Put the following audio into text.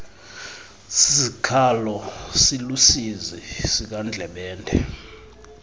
sikhalo siluusizi sikandlebende